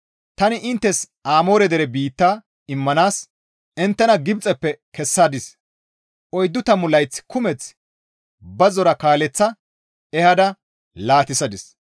Tani inttes Amoore dere biitta immanaas inttena Gibxeppe kessadis; oyddu tammu layth kumeth bazzora kaaleththa ehada laatissadis.